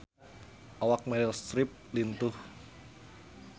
Awak Meryl Streep lintuh